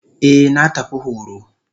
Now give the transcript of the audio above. Eh na tafi horo.